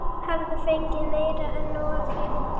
Illugi, kanntu að spila lagið „Hjá þér“?